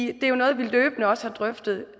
det er jo noget vi løbende også har drøftet